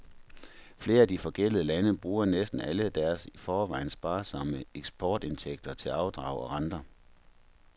Flere af de forgældede lande bruger næsten alle deres i forvejen sparsomme eksportindtægter til afdrag og renter.